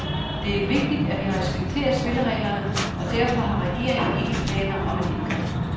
Det er vigtigt, at vi respekterer spillereglerne, og derfor har regeringen ikke planer om et indgreb.